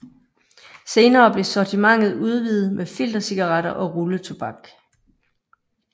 Senere blev sortimentet udvidet med filtercigaretter og rulletobak